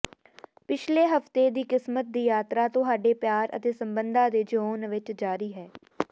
ਪਿਛਲੇ ਹਫ਼ਤੇ ਦੀ ਕਿਸਮਤ ਦੀ ਯਾਤਰਾ ਤੁਹਾਡੇ ਪਿਆਰ ਅਤੇ ਸੰਬੰਧਾਂ ਦੇ ਜ਼ੋਨ ਵਿਚ ਜਾਰੀ ਹੈ